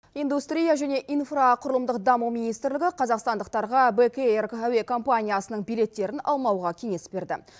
индустрия және инфроқұрылымдық даму министрлігі қазақстандықтарға бек эйр әуе компаниясының билеттерін алмауға кеңес берді